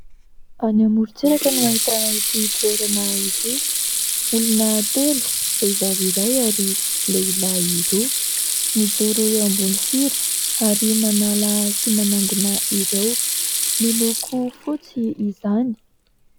Any amoron-tsiraka no ahitana ity toerana ity, olona telo vehivavy iray ary lehilahy roa mijoro eo ambony sira ary manala sy manangona ireo, miloko fotsy izany.